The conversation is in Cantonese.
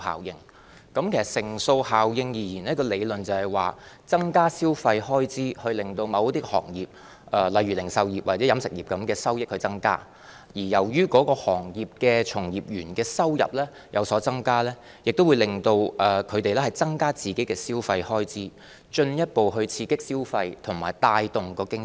其實，乘數效應的理論是，增加消費開支，令某些行業例如零售業或飲食業的收益增加；由於行業的從業員收入有所增加，也會增加他們本身的消費開支，進一步刺激消費和帶動經濟。